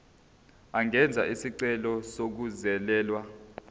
angenza isicelo sokungezelelwa